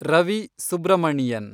Ravi Subramanian